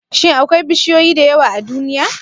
Shin akwai bishiyoyi da yawa a duniya?